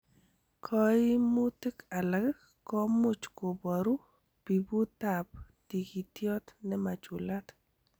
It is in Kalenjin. Koimutik alak komuch koboru piputab tikitityot nemachulat.